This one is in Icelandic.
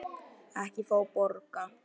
Ekki fá borga.